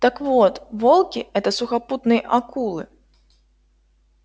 так вот волки это сухопутные акулы